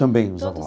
Também os avós.